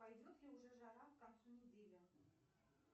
пойдет ли уже жара к концу недели